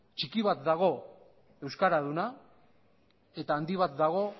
txiki bat dago euskara duena eta handi bat dago